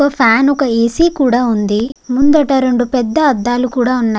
ఒక్క ఫ్యాన్ ఒక ఏసీ కూడా ఉంది. ముందట రెండు పెద్ద అద్దాలు కూడా ఉన్నాయి.